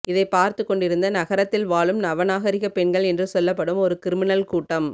இதைப் பார்த்துக்கொண்டிருந்த நகரத்தில் வாழும் நவ நாகரீகப் பெண்கள் என்று சொல்லப்படும் ஒரு கிரிமினல் கூட்டம்